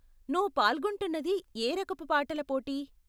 నువ్వు పాల్గొంటున్నది ఏ రకపు పాటల పోటీ?